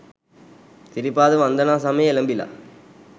සිරිපාද වන්දනා සමය එලඹිලා.